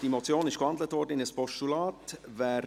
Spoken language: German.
Diese Motion wurde in ein Postulat gewandelt.